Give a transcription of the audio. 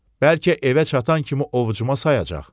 Bəlkə evə çatan kimi ovcuma sayacaq?